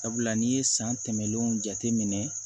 Sabula n'i ye san tɛmɛnlenw jateminɛ